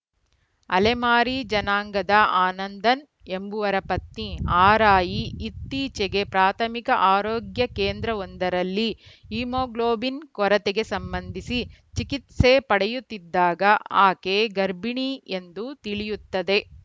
ಅಲೆಮಾರಿ ಜನಾಂಗದ ಆನಂದನ್‌ ಎಂಬುವರ ಪತ್ನಿ ಆರಾಯಿ ಇತ್ತೀಚೆಗೆ ಪ್ರಾಥಮಿಕ ಆರೋಗ್ಯ ಕೇಂದ್ರವೊಂದರಲ್ಲಿ ಹಿಮೋಗ್ಲೋಬಿನ್‌ ಕೊರತೆಗೆ ಸಂಬಂಧಿಸಿ ಚಿಕಿತ್ಸೆ ಪಡೆಯುತ್ತಿದ್ದಾಗ ಆಕೆ ಗರ್ಭಿಣಿ ಎಂದು ತಿಳಿಯುತ್ತದೆ